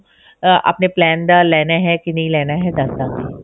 ah ਆਪਣੇ plan ਦਾ ਲੈਣਾ ਹੈ ਕਿ ਨਹੀ ਲੈਣਾ ਹੈ ਦੱਸ ਦਵਾਂਗੀ